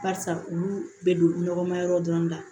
Barisa olu bɛ don ɲɔgɔn ma yɔrɔ dɔrɔn na